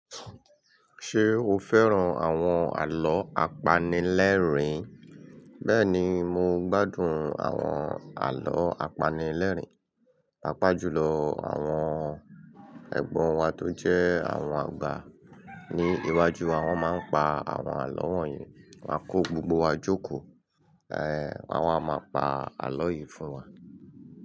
Ṣé o fẹ́ràn àwọn àlọ́ apanilẹ́rìn-ín? Bẹ́ẹ̀ni, mo gbádùn àwọn àlọ́ apanilẹ́rìn-ín. Pá pá jùlọ àwọn ẹ̀gbọ́n wa tó jẹ́ àwọn àgbà ní iwájú wa. Wọ́n máa ń pa àwọn àlọ́ wọ̀nyí, wọ́n á kó gbogbo wa jókòó. Won wà máa pa àlọ́ yìí fún wa.